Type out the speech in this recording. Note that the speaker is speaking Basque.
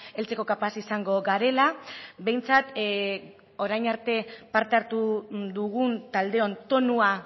heltzeko kapaz izango garela behintzat orain arte parte hartu dugun taldeon tonua